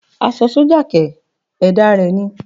Aṣọ sọ́jà kẹ̀!! Ẹ̀dá rẹ ni